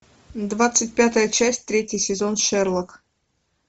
двадцать пятая часть третий сезон шерлок